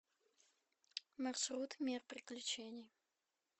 маршрут мир приключений